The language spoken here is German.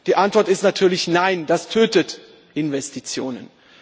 Die Antwort ist natürlich Nein, das tötet Investitionen.